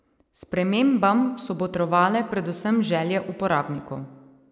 Spremembam so botrovale predvsem želje uporabnikov.